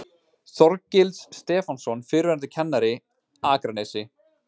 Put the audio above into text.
Þorgils Stefánsson, fyrrverandi kennari, Akranesi